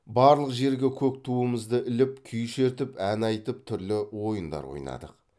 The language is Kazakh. барлық жерге көк туымызды іліп күй шертіп ән айтып түрлі ойындар ойнадық